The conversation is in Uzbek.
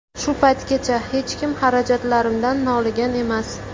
Shu paytgacha hech kim xarajatlarimdan noligan emas.